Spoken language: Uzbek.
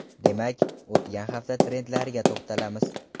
Demak, o‘tgan hafta trendlariga to‘xtalamiz.